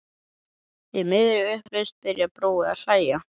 Í miðri upplausn byrjar Brói að hlæja.